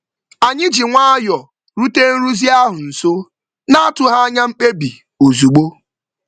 Anyị ji nwayọ rute nrụzi ahụ nso, n'atụghị anya mkpebi ozugbo.